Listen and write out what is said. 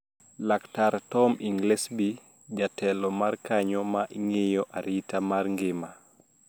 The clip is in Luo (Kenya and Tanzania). Laktar Tom Inglesby, jatelo mar kanyo ma ng`iyo arita mar ngima